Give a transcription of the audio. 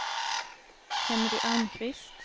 Henry Almqvist